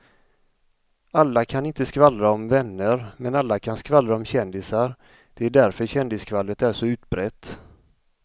Alla kan inte skvallra om vänner men alla kan skvallra om kändisar, det är därför kändisskvallret är så utbrett.